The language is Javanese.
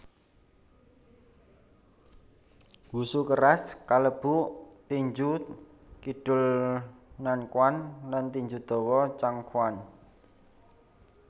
Wushu keras kalebu tinju kidul Nanquan lan tinju dawa Changquan